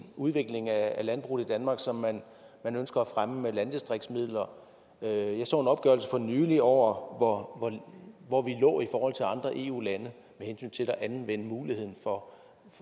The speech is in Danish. udvikling af landbruget i danmark som man ønsker at fremme med landdistriktsmidler jeg så en opgørelse for nylig over hvor hvor vi lå i forhold til andre eu lande med hensyn til at anvende muligheden for